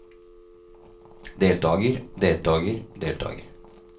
deltager deltager deltager